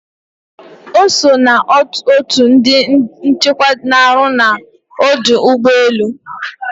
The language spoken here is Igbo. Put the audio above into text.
Ọ so na otu ndi nchekwa na arụ na ọdụ ụgbọelu